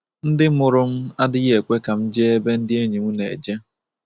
‘Ndị mụrụ m adịghị ekwe ka m jee ebe ndị enyi m na-eje.